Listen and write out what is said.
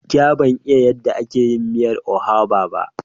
Gaskiya ban san yadda ake dafa miyar oha ba.